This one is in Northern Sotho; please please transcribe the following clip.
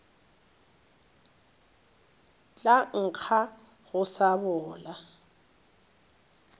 tla nkga go sa bola